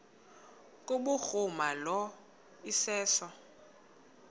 kubhuruma lo iseso